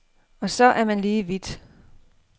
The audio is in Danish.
Og så er man lige vidt.